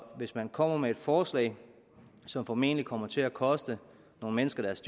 hvis man kommer med et forslag som formentlig kommer til at koste nogle mennesker deres